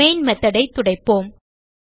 main method ஐ துடைப்போம்